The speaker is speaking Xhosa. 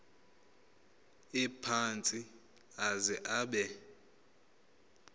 ephantsi aze abe